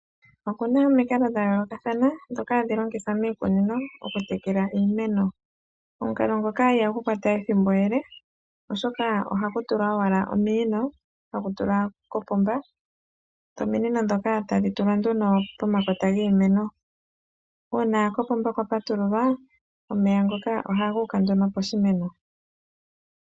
Okuna omikalo dhayoolokathana ndhoka hadhi longithwa miikunino okutekela iimeno. Omukalo ngoka ihagu kwata ethimbo ele oshoka ohaku tulwa owala ominino togu tula kopomba, dho ominino ndhoka tadhi tulwa nduno pomakota giimeno. Uuna kopomba kwapatululwa omeya ngoka ohagu uka nduno poshimeno.